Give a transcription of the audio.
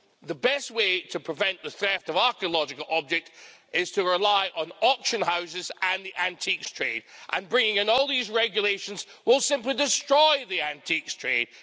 The best way to prevent the theft of archaeological objects is to rely on auction houses and the antiques trade, and bringing in all these regulations will simply destroy the antiques trade.